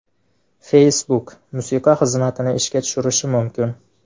Facebook musiqa xizmatini ishga tushirishi mumkin.